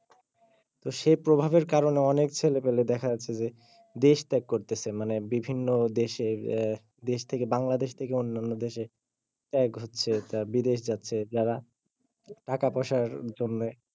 তো সে প্রভাবের কারনে অনেক ছেলে পেলে দেখা যাচ্ছে যে দেশ ত্যাগ করতেছে মানে বিভিন্ন দেশে আহ দেশ থেকে বাংলাদেশ থেকে অন্যান্য দেশে ত্যাগ হচ্ছে বিদেশ যাচ্ছে তারা টাকা পয়সার জন্যে।